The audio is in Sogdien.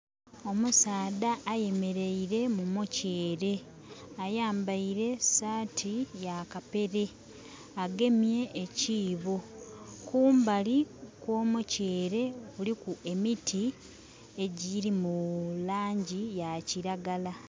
Omusaadha ayemereire mu muceere, ayambaire saati ya kapere, agemye ekiibo, kumbali okwo muceere kuliku emiti egirimu langi yakilagala.